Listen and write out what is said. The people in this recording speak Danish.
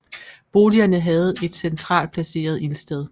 Boligerne havde et centralt placeret ildsted